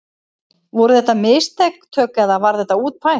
Voru þetta mistök eða var þetta útpælt?